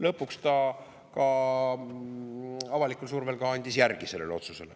Lõpuks ta avalikkuse survel andis järgi sellele otsusele.